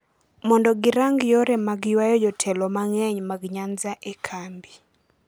mondo girang yore mag ywayo jotelo mang’eny mag Nyanza e kambi.